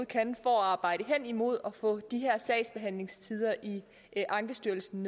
kan for at arbejde hen imod at få de her sagsbehandlingstider i ankestyrelsen